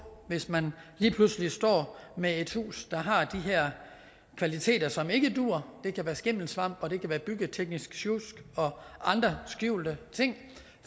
hvis man lige pludselig står med et hus der har de her kvaliteter som ikke duer det kan være skimmelsvamp det kan være byggeteknisk sjusk og andre skjulte ting og